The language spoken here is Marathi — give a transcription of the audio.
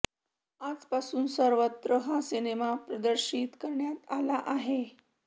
आजपासून सर्वत्र हा सिनेमा प्रदर्शित करण्यात आला आहे